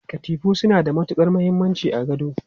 Katifu suna da matukar muhimmanci a gado.